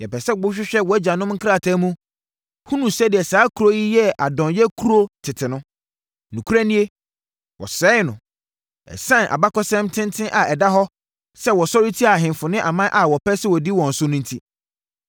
Yɛpɛ sɛ wohwehwɛ wʼagyanom nkrataa mu, hunu sɛdeɛ saa kuro yi yɛɛ adɔnyɛ kuro tete no. Nokorɛ nie, wɔsɛee no, ɛsiane abakɔsɛm tenten a ɛda hɔ sɛ wɔsɔre tiaa ahemfo ne aman a wɔpɛɛ sɛ wɔdi wɔn so no enti.